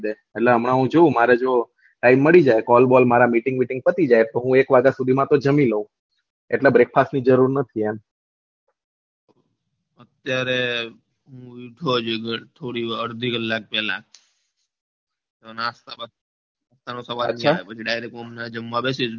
અત્યારે હજુ ઘર થોડી વ અડધા કલાક પેલા નાસ્તા બાસ્તા પછી direct હું હમણાં જમવા બેસીસ